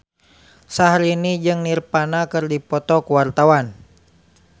Syahrini jeung Nirvana keur dipoto ku wartawan